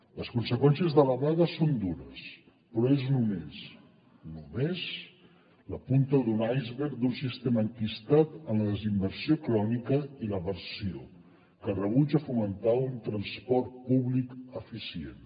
les conseqüències de la vaga són dures però és només només la punta d’un iceberg d’un sistema enquistat en la desinversió crònica i l’aversió que rebutja fomentar un transport públic eficient